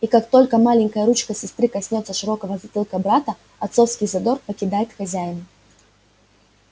и как только маленькая ручка сестры коснётся широкого затылка брата отцовский задор покидает хозяина